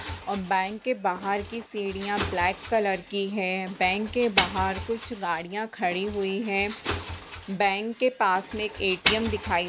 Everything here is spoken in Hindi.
और बैंक के बाहर की सीढ़ियाँ ब्लैक कलर की है| बैंक के बाहर कुछ गाड़ियाँ खड़ी हुई है| बैंक के पास में ए_टी_एम दिखाई --